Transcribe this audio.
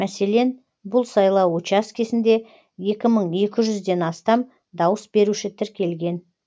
мәселен бұл сайлау учаскесінде екі мың екі жүзден астам дауыс беруші тіркелген